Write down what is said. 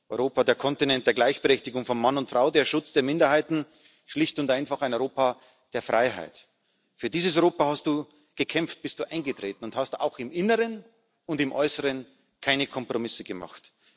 Europa, der Kontinent der Gleichberechtigung von Mann und Frau, des Schutzes der Minderheiten schlicht und einfach ein Europa der Freiheit. Für dieses Europa hast Du gekämpft, bist Du eingetreten, und Du hast auch im Inneren und im Äußeren keine Kompromisse gemacht.